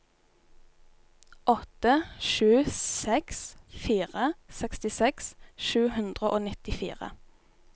åtte sju seks fire sekstiseks sju hundre og nittifire